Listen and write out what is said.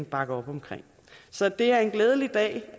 bakker op om så det er en glædelig dag